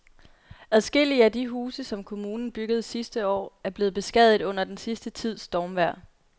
Adskillige af de huse, som kommunen byggede sidste år, er blevet beskadiget under den sidste tids stormvejr.